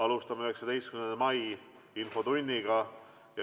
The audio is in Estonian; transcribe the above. Alustame 19. mai infotundi.